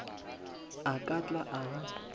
a ka tla a ba